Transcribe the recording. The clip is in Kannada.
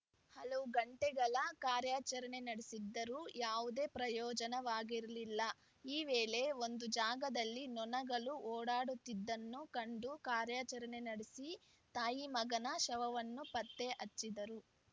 ಹಲವು ಗಂಟೆಗಳ ಕಾರ್ಯಾಚರಣೆ ನಡೆಸಿದ್ದರೂ ಯಾವುದೇ ಪ್ರಯೋಜನವಾಗಿರಲಿಲ್ಲ ಈ ವೇಳೆ ಒಂದು ಜಾಗದಲ್ಲಿ ನೊಣಗಳು ಓಡಾಡುತ್ತಿದ್ದನ್ನು ಕಂಡು ಕಾರ್ಯಾಚರಣೆ ನಡೆಸಿ ತಾಯಿ ಮಗನ ಶವವನ್ನು ಪತ್ತೆಹಚ್ಚಿದ್ದರು